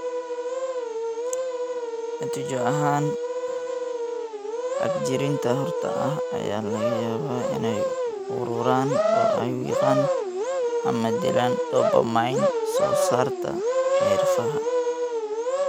Natiijo ahaan, xagjiriinta xorta ah ayaa laga yaabaa inay ururaan oo ay wiiqaan ama dilaan dopamine soo saarta neerfaha.